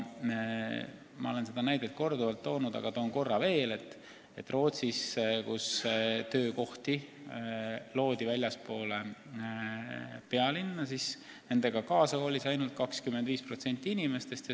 Ma olen seda näidet korduvalt toonud, aga toon korra veel, et ka Rootsis loodi töökohti väljaspool pealinna ja nendega kaasa kolis ainult 25% inimestest.